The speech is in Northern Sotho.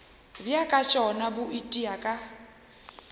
bja tšona bo itia ka